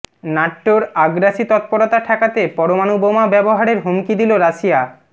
ন্যাটোর আগ্রাসী তৎপরতা ঠেকাতে পরমাণু বোমা ব্যবহারের হুমকি দিল রাশিয়া